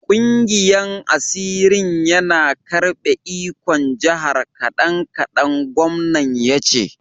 Kungiyan asirin yana karbe ikon jihar kadan-kadan, gwamnan ya ce.